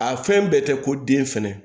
A fɛn bɛɛ tɛ ko den fɛnɛ